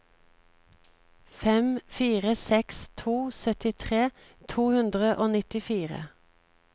fem fire seks to syttitre to hundre og nittifire